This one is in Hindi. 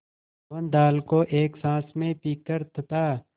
मोहन दाल को एक साँस में पीकर तथा